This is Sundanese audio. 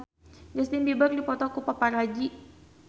Justin Beiber dipoto ku paparazi